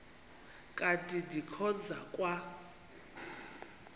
kanti ndikhonza kwa